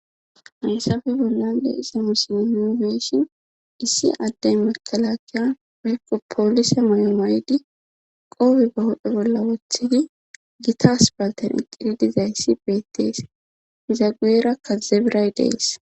Haysappe bollan de'za misile issi addey makalakiya eyko poolise may7o maydi qoobe ba huphe bolla wothidi gitas palten iqidi dizayssi beettees izaguera kazebiray dees